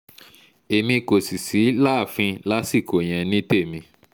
èmi kò sì sí láàfin lásìkò yẹn ní tèmi